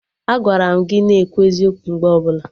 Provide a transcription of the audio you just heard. Agwara m gị na-ekwu eziokwu mgbe ọbụla!